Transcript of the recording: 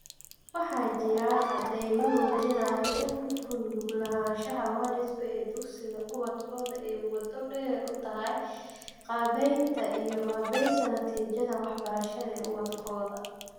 Waxa jira cadaymo muujinaya in ku lug lahaanshaha waalidku ee dugsiga ubadkoodu ay waddo dheer u tahay qaabaynta iyo qaabaynta natiijada waxbarasho ee ubadkooda